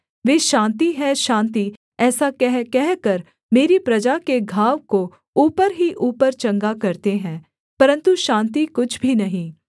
वे शान्ति है शान्ति ऐसा कह कहकर मेरी प्रजा के घाव को ऊपर ही ऊपर चंगा करते हैं परन्तु शान्ति कुछ भी नहीं